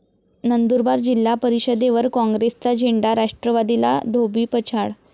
नंदुरबार जिल्हा परिषदेवर काँग्रेसचा झेंडा, राष्ट्रवादीला धोबीपछाड